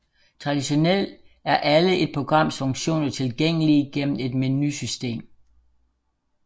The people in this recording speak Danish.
Traditionelt er alle et programs funktioner tilgængelige gennem et menusystem